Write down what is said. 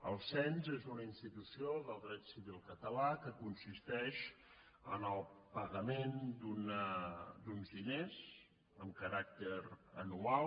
el cens és una institució del dret civil català que consisteix en el pagament d’uns diners amb caràcter anual